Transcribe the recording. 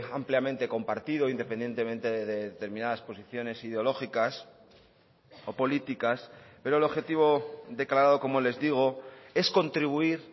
ampliamente compartido independientemente de determinadas posiciones ideológicas o políticas pero el objetivo declarado como les digo es contribuir